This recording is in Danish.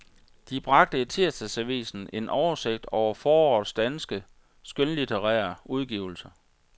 De bragte i tirsdagsavisen en oversigt over forårets danske, skønlitterære udgivelser.